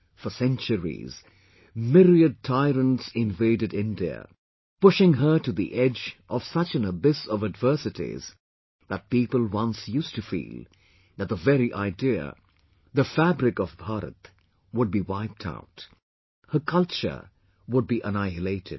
For centuries, myriad tyrants invaded India pushing her to the edge of such an abyss of adversities that people once used to feel that the very idea, the fabric of Bharat would be wiped out her culture would be annihilated